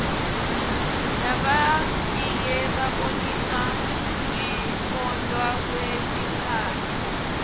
labatiye babonisa ngekwotntwa kwetmphahla